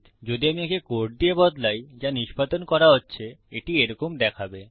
যদি আমি একে কোড দিয়ে বদলাই যা নিষ্পাদন করা হচ্ছে এটি এরকম দেখাবে